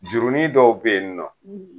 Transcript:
Jurunin dɔw be yen nɔ